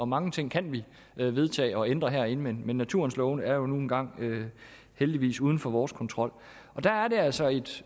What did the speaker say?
mange ting kan vi vedtage og ændre herinde men naturens love er nu engang heldigvis uden for vores kontrol der er det altså et